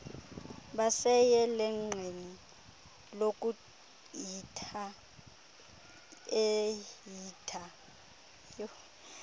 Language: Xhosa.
baseyelenqeni lokuehitha ehitha